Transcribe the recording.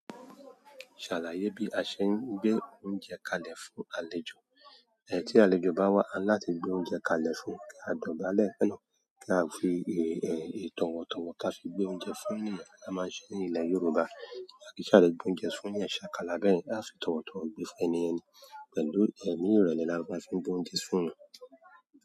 Ṣàlàyé bí a ṣe ń gbé oúnjẹ kalẹ̀ fún àlejò. Ẹ̀ tí àlejò bá wá, à ń láti gbé oúnjẹ kalẹ̀ fún, kí a dọ̀bálẹ̀, kí a fi tọwọ̀tọ̀wọ̀ ká fi gbé oúnjẹ fún ènìyàn a máa ń ṣe ní ilẹ̀ Yorùbá. A ki n à ṣa dede gbé oúnjẹ fún èeyan ṣakalà bẹyẹn, à fi tọwọ̀tọ̀wọ̀ gbé fún ẹni yẹn ni pẹ̀lú ẹ̀mí ìrẹ̀lẹ̀ ni a maa fi ń gbé oúnjẹ fún wọn.